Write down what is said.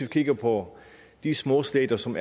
kigger på de små stater som